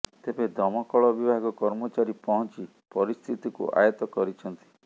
ତେବେ ଦମକଳ ବିଭାଗ କର୍ମଚାରୀ ପହଞ୍ଚି ପରିସ୍ଥିତିକୁ ଆୟତ୍ତ କରିଛନ୍ତି